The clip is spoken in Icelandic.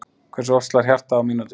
Hversu oft slær hjartað á mínútu?